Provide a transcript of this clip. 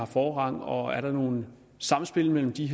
forrang og er der nogle samspil mellem de